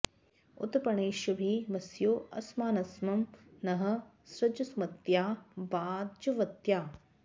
उत प्र णेष्यभि वस्यो अस्मान्सं नः सृज सुमत्या वाजवत्या